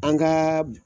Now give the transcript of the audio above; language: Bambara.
An ka